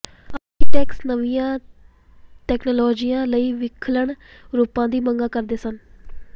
architects ਨਵੀਆਂ ਤਕਨਾਲੋਜੀਆਂ ਲਈ ਵਿਲੱਖਣ ਰੂਪਾਂ ਦੀ ਮੰਗ ਕਰਦੇ ਸਨ